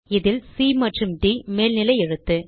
இதில் சி மற்றும் ட் மேல்நிலைஎழுத்து